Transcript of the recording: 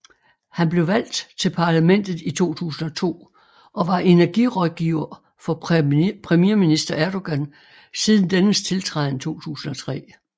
Han blev valgt til parlamentet i 2002 og var energirådgiver for premierminister Erdogan siden dennes tiltræden 2003